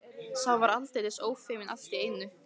Sá var aldeilis ófeiminn allt í einu!